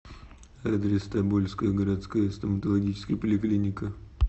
адрес тобольская городская стоматологическая поликлиника